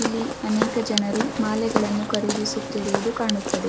ಇಲ್ಲಿ ಅನೇಕ ಜನರು ಮಾಲೆಗಳನ್ನು ಕರಿದಿ ಸುತ್ತಿರುದು ಕಾಣುತ್ತದೆ .